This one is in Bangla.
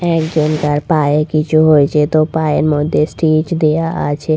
একজন তার পায়ে কিছু হয়েছে তো পায়ের মধ্যে স্টিচ দেয়া আছে।